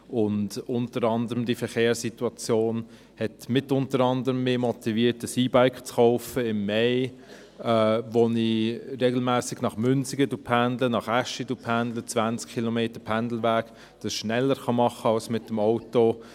Unter anderem diese Verkehrssituation hat mich dazu motiviert, mir im Mai ein E-Bike zu kaufen, mit dem ich regelmässig nach Münsingen und nach Aeschi pendle – 20 Kilometer Pendelweg, was ich schneller machen kann als mit dem Auto.